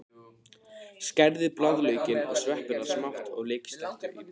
Skerðu blaðlaukinn og sveppina smátt og léttsteiktu á pönnu.